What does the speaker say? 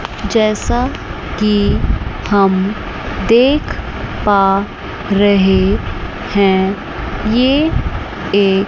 जैसा कि हम देख पा रहे हैं ये एक--